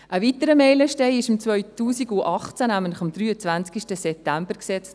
Ein weiterer Meilenstein wurde am 23. September 2018 gesetzt.